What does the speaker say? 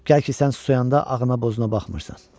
Gəl ki, sən susayanda ağına-bozuna baxmırsan.